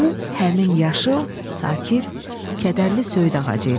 Bu həmin yaşıl, sakit, kədərli söyüd ağacı idi.